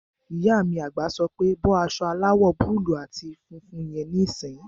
Ìyá mi àgbà sọ pé "bọ́ aṣọ aláwọ̀ búúlù àti funfun yẹn níìsín!"